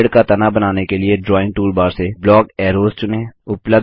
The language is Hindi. पेड़ का तना बनाने के लिए ड्राइंग टूलबार से ब्लॉक अरोज चुनें